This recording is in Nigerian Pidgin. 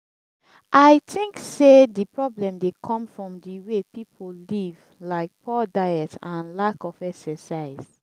i think say di problem dey come from di way people live like poor diet and lack of exercise.